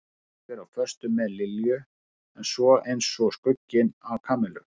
Þykist vera á föstu með Lilju en er svo eins og skugginn af Kamillu.